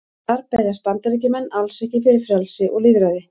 Þar berjast Bandaríkjamenn alls ekki fyrir frelsi og lýðræði.